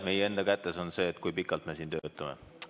Meie enda kätes on see, kui pikalt me siin töötame.